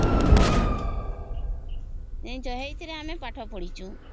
ଜାଣିଛ ସେଇ ଥିରେ ଆମେ ପାଠ ପଡ଼ିଛୁ